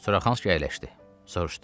Suraxanski əyləşdi, soruşdu: